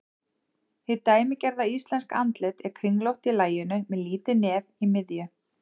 Hið dæmigerða íslenska andlit er kringlótt í laginu með lítið nef í miðju.